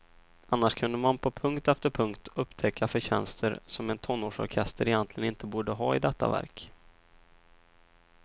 Annars kunde man på punkt efter punkt upptäcka förtjänster som en tonårsorkester egentligen inte borde ha i detta verk.